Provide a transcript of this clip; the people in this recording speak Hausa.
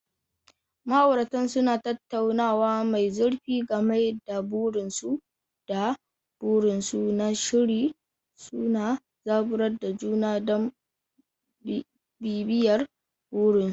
Ma'auratan suna tattaunawa mai zurfi game da burinsu da burinsu na sirri, suna zaburar da juna don bibiyar burinsu.